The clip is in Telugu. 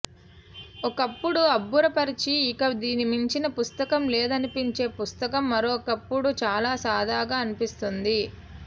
ఒకప్పుడు అబ్బురపరచి ఇక దీన్ని మించిన పుస్తకం లేదనిపించే పుస్తకం మరొకప్పుడు చాల సాదాగా అనిపిస్తుంది